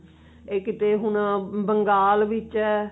ਇਹ ਕਿੱਥੇ ਹੁਣ ਬੰਗਾਲ ਵਿੱਚ ਹੈ